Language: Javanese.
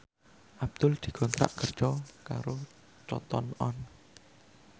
Abdul dikontrak kerja karo Cotton On